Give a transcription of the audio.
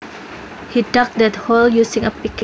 He dug that hole using a pick